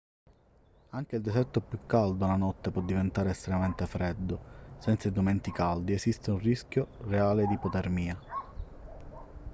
anche il deserto più caldo la notte può diventare estremamente freddo senza indumenti caldi esiste un rischio reale di ipotermia